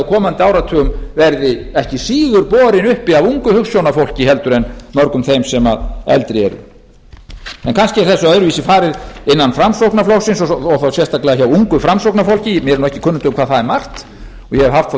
komandi áratugum verði ekki síður borin uppi af ungu hugsjónafólki heldur en mörgum þeim sem eldri eru en kannski er þessu öðruvísi farið innan framsóknarflokksins og þá sérstaklega hjá ungu framsóknarfólki mér er nú ekki kunnugt um hvað það er margt ég hef haft þá